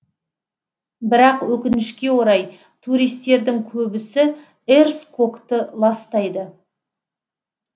бірақ өкінішке орай туристердің көбісі эрс кокты ластайды